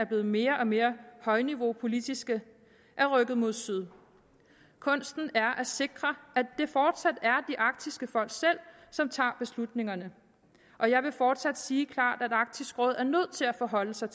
blevet mere og mere højniveaupolitiske er rykket mod syd kunsten er at sikre at det fortsat er de arktiske folk selv som tager beslutningerne og jeg vil fortsat sige klart at arktisk råd er nødt til at forholde sig